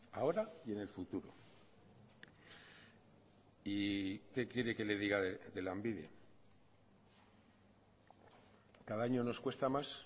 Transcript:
ahora y en el futuro y que quiere que le diga de lanbide cada año nos cuesta más